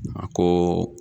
A kooo.